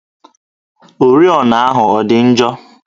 Oriọna ahụ ọ dị njọ?